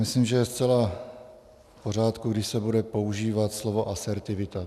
Myslím, že je zcela v pořádku, když se bude používat slovo asertivita.